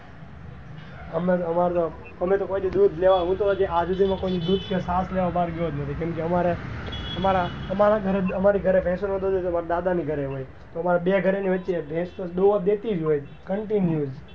અમે તો કોઈ દી દૂધ લેવા હું તો હજુ કોઈ ના ઘરે દૂધ કે છાસ લેવા ગયો જ નથી કેમ કે અમારે અમારા ગરે ભેશો ના હોય તો અમાર દાદા ના ઘરે હોય બે ઘરે થી એકને તો દોવા દેતી જ હોય continue